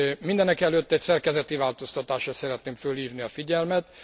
Mindenekelőtt egy szerkezeti változtatásra szeretném fölhívni a figyelmet.